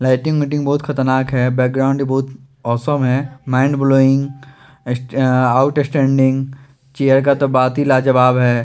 Light meeting बहुत खतरनाक हैं बैक ग्राउंड बहुत अव्स्म हैं माइंड ब्लोविंग स्टैं आउटस्टैंडिंग चेयर का तो बात ही लाजवाब हैं।